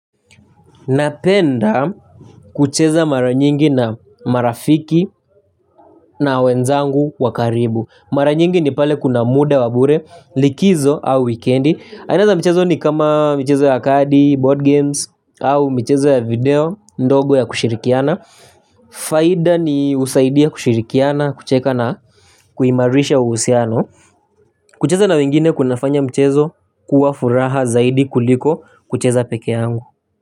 Napenda kucheza mara nyingi na marafiki na wenzangu wa karibu. Mara nyingi ni pale kuna muda wa bure likizo au wikendi. Aina za michezo ni kama michezo ya kadi, board games, au michezo ya video, ndogo ya kushirikiana. Faida ni husaidia kushirikiana, kucheka na kuimarisha uhusiano. Kucheza na wengine kunafanya mchezo kuwa furaha zaidi kuliko kucheza peke yangu.